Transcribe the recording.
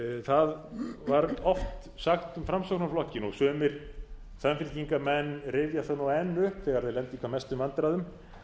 það var oft sagt um framsóknarflokkinn og sumir samfylkingarmenn rifja það nú enn upp þegar þeir lenda í hvað mestum vandræðum